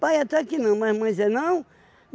Pai até que não, mas mãe dizer não.